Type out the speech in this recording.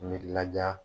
N mi laja